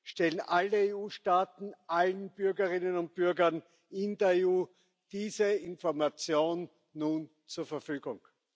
stellen alle EU Staaten allen Bürgerinnen und Bürgern in der EU diese Information nun zur Verfügung.